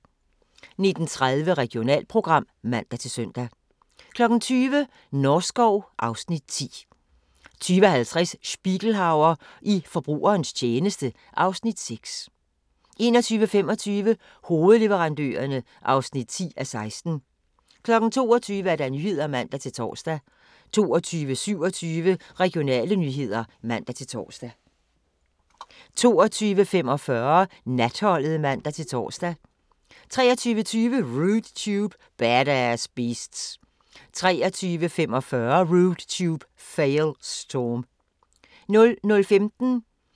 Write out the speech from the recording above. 19:30: Regionalprogram (man-søn) 20:00: Norskov (Afs. 10) 20:50: Spiegelhauer i forbrugernes tjeneste (Afs. 6) 21:25: Hofleverandørerne (10:16) 22:00: Nyhederne (man-tor) 22:27: Regionale nyheder (man-tor) 22:45: Natholdet (man-tor) 23:20: Rude Tube – Badass beasts 23:45: Rude Tube – Fail Storm 00:15: Grænsepatruljen